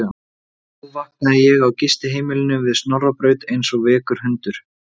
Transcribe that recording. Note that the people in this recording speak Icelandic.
En nú vaknaði ég á gistiheimilinu við Snorrabraut eins og veikur hundur.